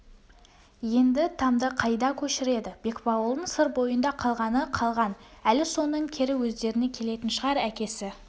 енді тамды қайда көшіреді бекбауылдың сыр бойында қалғаны қалған әлі соның кері өздеріне келетін шығар әкесі